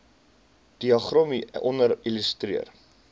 diagram hieronder illustreer